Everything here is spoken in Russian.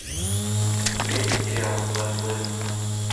у тебя есть сериал барри левинсона